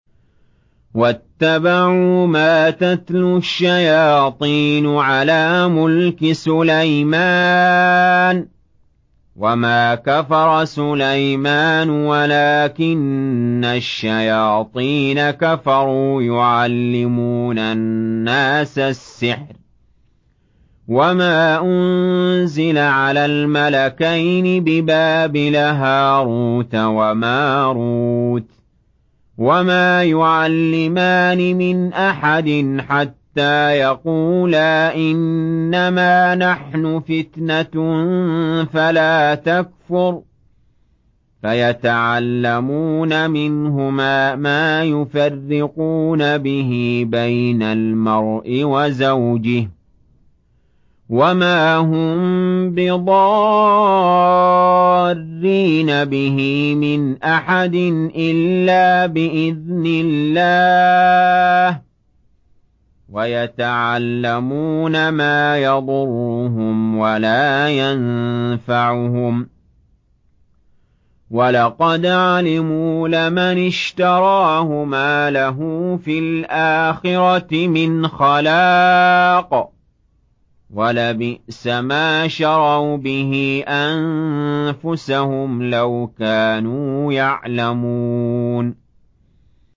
وَاتَّبَعُوا مَا تَتْلُو الشَّيَاطِينُ عَلَىٰ مُلْكِ سُلَيْمَانَ ۖ وَمَا كَفَرَ سُلَيْمَانُ وَلَٰكِنَّ الشَّيَاطِينَ كَفَرُوا يُعَلِّمُونَ النَّاسَ السِّحْرَ وَمَا أُنزِلَ عَلَى الْمَلَكَيْنِ بِبَابِلَ هَارُوتَ وَمَارُوتَ ۚ وَمَا يُعَلِّمَانِ مِنْ أَحَدٍ حَتَّىٰ يَقُولَا إِنَّمَا نَحْنُ فِتْنَةٌ فَلَا تَكْفُرْ ۖ فَيَتَعَلَّمُونَ مِنْهُمَا مَا يُفَرِّقُونَ بِهِ بَيْنَ الْمَرْءِ وَزَوْجِهِ ۚ وَمَا هُم بِضَارِّينَ بِهِ مِنْ أَحَدٍ إِلَّا بِإِذْنِ اللَّهِ ۚ وَيَتَعَلَّمُونَ مَا يَضُرُّهُمْ وَلَا يَنفَعُهُمْ ۚ وَلَقَدْ عَلِمُوا لَمَنِ اشْتَرَاهُ مَا لَهُ فِي الْآخِرَةِ مِنْ خَلَاقٍ ۚ وَلَبِئْسَ مَا شَرَوْا بِهِ أَنفُسَهُمْ ۚ لَوْ كَانُوا يَعْلَمُونَ